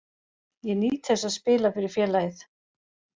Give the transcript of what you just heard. Ég nýt þess að spila fyrir félagið.